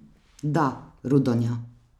Da, Rudonja.